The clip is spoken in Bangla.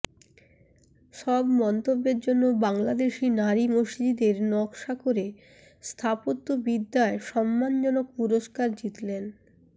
সব মন্তব্যের জন্য বাংলাদেশি নারী মসজিদের নকশা করে স্থাপত্যবিদ্যায় সম্মানজনক পুরস্কার জিতলেন